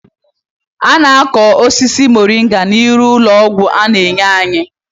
A na-akọ osisi moringa n'ihi uru ọgwụ ọ na-enye anyi